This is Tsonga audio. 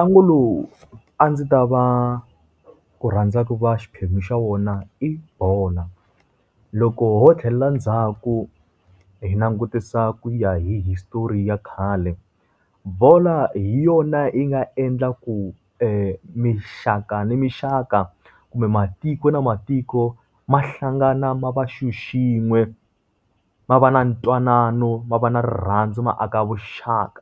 Ntlangu lowu a ndzi ta va ku rhandza ku va xiphemu xa wona i bolo. Loko ho tlhelela ndzhaku hi langutisa ku ya history ya khale, bolo hi yona yi nga endla ku minxaka ni minxaka kumbe matiko na matiko ma hlangana ma va xilo xin'we. Ma va na ntwanano, ma va na rirhandzu ma aka vuxaka.